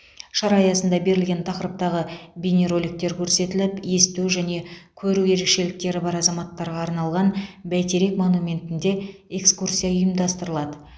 шара аясында берілген тақырыптағы бейнероликтер көрсетіліп есту және көру ерекшеліктері бар азаматтарға арналған бәйтерек монументінде экскурсия ұйымдастырылады